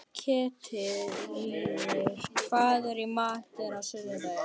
Ketilríður, hvað er í matinn á sunnudaginn?